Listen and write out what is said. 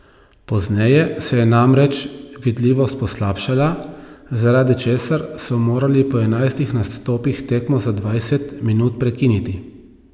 Pozneje se je namreč vidljivost poslabšala, zaradi česar so morali po enajstih nastopih tekmo za dvajset minut prekiniti.